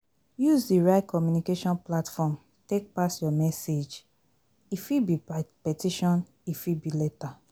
Use di right communication platform take pass your message, e fit be petition, e fit be letter